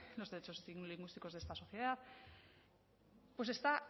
los derechos lingüísticos de esta sociedad pues está